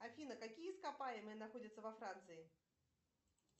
афина какие ископаемые находятся во франции